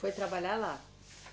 Foi trabalhar lá?